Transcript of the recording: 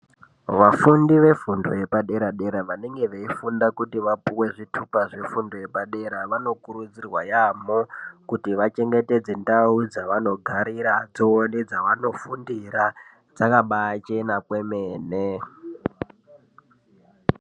Vafundi vefundo yepadera dera vanenge veifunda kuti vapuwe zvithupa zvefundo yepadera vanokurudzirwa yaamho kuti vachengetedze ndau dzavanogariradzo nedzavanofundira dzakabachena kwemene.